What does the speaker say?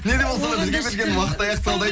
не де болса да бізге бірген уақыт аяқталды